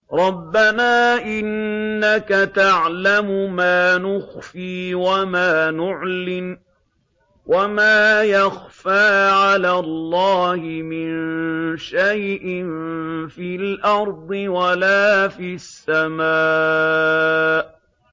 رَبَّنَا إِنَّكَ تَعْلَمُ مَا نُخْفِي وَمَا نُعْلِنُ ۗ وَمَا يَخْفَىٰ عَلَى اللَّهِ مِن شَيْءٍ فِي الْأَرْضِ وَلَا فِي السَّمَاءِ